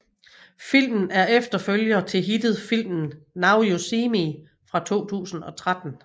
Filmen er efterfølger til hittet filmen Now You See Me fra 2013